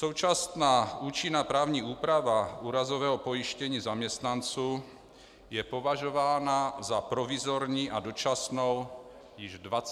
Současná účinná právní úprava úrazového pojištění zaměstnanců je považována za provizorní a dočasnou již 22 roků.